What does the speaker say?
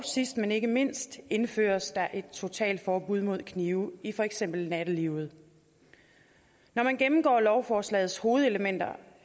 sidst men ikke mindst indføres der et totalforbud mod knive i for eksempel nattelivet når man gennemgår lovforslagets hovedelementer